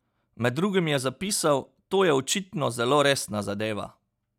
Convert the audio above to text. Med drugim je zapisal: "To je očitno zelo resna zadeva.